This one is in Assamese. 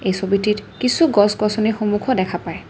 এই ছবিটিত কিছু গছ-গছনি সন্মুখো দেখা পায়।